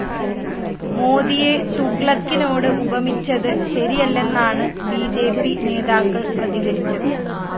മോദിയെ തുഗ്ലക്കിനോട് ഉപമിച്ചത് ശരിയല്ലെന്നാണ് ബി ജെ പി നേതാക്കള്‍ പ്രതികരിച്ചത്